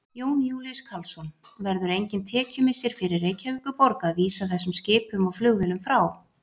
Jón Júlíus Karlsson: Verður engin tekjumissir fyrir Reykjavíkurborg að vísa þessum skipum og flugvélum frá?